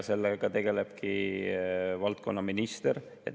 Sellega tegelebki valdkonnaminister.